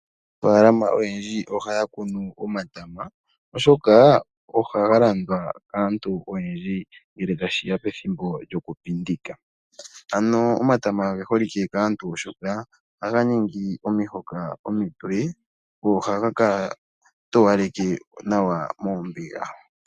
Aanafalama oyendji ohaya kunu omatama oshoka ohaga landwa kaantu oyendji ngele tashiya pethimbo lyokupindika. Omatama oge holike kaantu oshoka ohaga ningi omihoka omitoye go ohaga towaleke nawa moombiga.